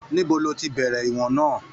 Níbo ló tí bẹrẹ ìwọ̀n náà?